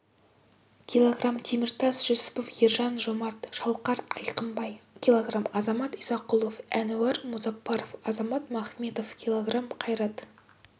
кг теміртас жүсіпов ержан жомарт шалқар айқынбай кг азамат исақұлов әнуар музапаров азат махметов кг қайрат